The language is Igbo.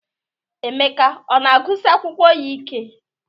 Emeka ọ na-agụsi akwụkwọ ya ike?